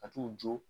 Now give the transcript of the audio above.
A t'u jɔ